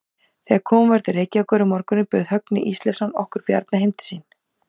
Þegar komið var til Reykjavíkur um morguninn bauð Högni Ísleifsson okkur Bjarna heim til sín.